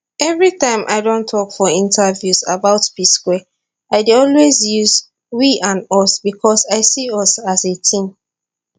every time i don tok for interviews about psquare i dey always use we and us becos i see us as a team